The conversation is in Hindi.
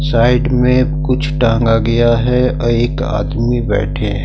साइड में कुछ टांगा गया है और एक आदमी बैठे हैं।